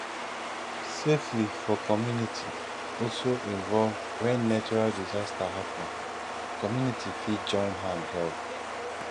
safely for community also involve when natural disaster happen community fit join hand help